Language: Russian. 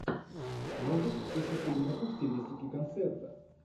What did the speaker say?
можешь включить фильмуху в стилистике концерта